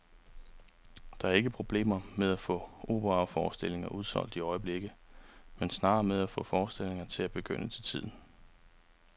Der er ikke problemer med at få operaforestillinger udsolgt i øjeblikket, men snarere med at få forestillingerne til at begynde til tiden.